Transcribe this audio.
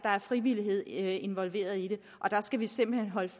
frivillighed involveret i det og der skal vi simpelt hen holde